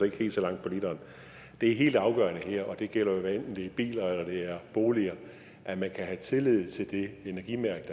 ikke helt så langt på literen det er helt afgørende her og det gælder jo hvad enten det er biler eller boliger at man kan have tillid til det energimærke